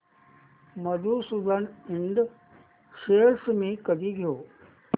मधुसूदन इंड शेअर्स मी कधी घेऊ